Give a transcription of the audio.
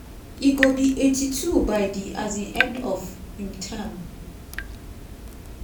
e go be 82 by di um end of im term.